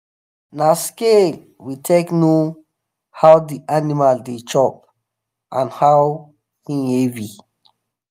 na scale we take the know how the animal the chop and how him heav